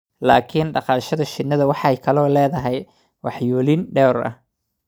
laakiin dhaqashada shinnidu waxay kaloo leedahay waxyeelooyin dhowr ah